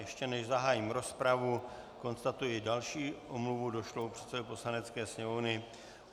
Ještě než zahájím rozpravu, konstatuji další omluvu došlou předsedovi Poslanecké sněmovny.